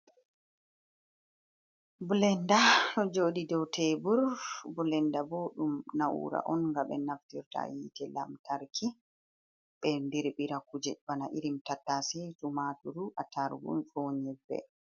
Bilenda joɗi dou tebur. Bilenda bo ɗum na'ura on nga ɓe naftirta yite lamtarki ɓe ndirɓira kuje bana irin tattase, tu maturu, attarugu ko nyebbe.